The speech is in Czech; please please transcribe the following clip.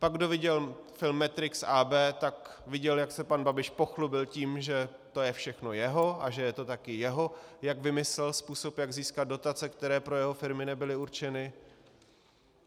Pak kdo viděl film Matrix AB, tak viděl, jak se pan Babiš pochlubil tím, že to je všechno jeho a že je to také jeho, jak vymyslel, způsob, jak získat dotace, které pro jeho firmy nebyly určeny.